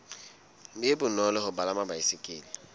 be bonolo ho palama baesekele